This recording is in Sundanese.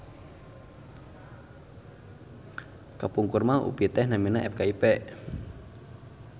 Kapungkurmah UPI teh namina FKIP